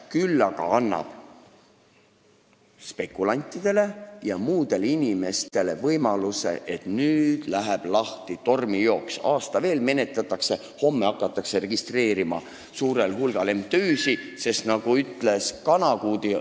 Küll aga annab see spekulantidele ja muudele inimestele võimaluse selleks, et läheb lahti tormijooks: kui seda menetletakse veel aasta, hakatakse homme suurel hulgal MTÜ-sid registreerima.